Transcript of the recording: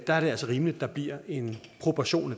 der er det altså rimeligt at der bliver en proportion